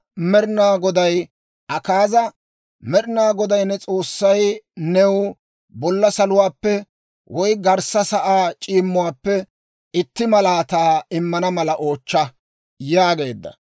«Med'inaa Goday ne S'oossay new bolla saluwaappe, woy garssa sa'aa c'iimmuwaappe itti malaataa immana mala oochcha» yaageedda.